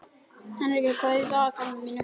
Henrika, hvað er í dagatalinu mínu í dag?